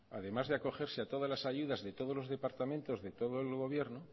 además de acogerse a todas las ayudas de todos los departamentos de todo el gobierno